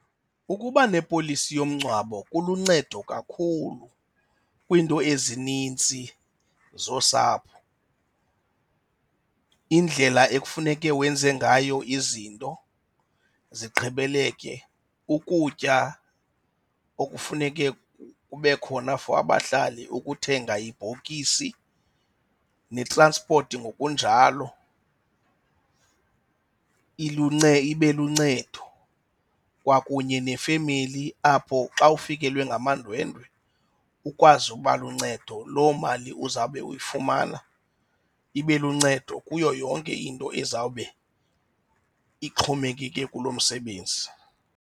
Ukuba nepolisi yomngcwabo kuluncedo kakhulu kwiinto ezinintsi zosapho. Indlela ekufuneke wenze ngayo izinto zigqibeleke, ukutya okufuneke kube khona for abahlali, ukuthenga ibhokisi netranspoti ngokunjalo. Ibe luncedo kwakunye nefemeli apho xa ufikelwe ngamandwendwe ukwazi uba luncedo. Loo mali uzawube uyifumana ibe luncedo kuyo yonke into ezawube ixhomekeke kulo msebenzi.